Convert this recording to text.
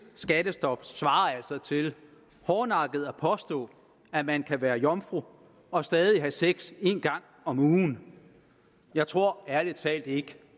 skattestop svarer altså til hårdnakket at påstå at man kan være jomfru og stadig have sex en gang om ugen jeg tror ærlig talt ikke